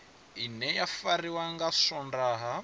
ine ya fariwa nga swondaha